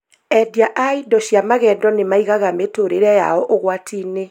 Endia a indo cia magendo nĩmaigaga mĩtũrĩre yao ũgwati-inĩ